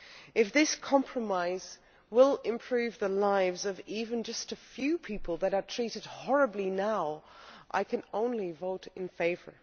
If this compromise will improve the lives of even just a few people who are treated horribly now, I can only vote in favour.